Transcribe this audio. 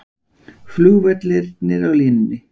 Flugvellirnir á línunni